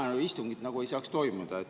Täna istungit nagu ei saaks toimuda.